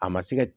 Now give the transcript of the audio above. A ma se ka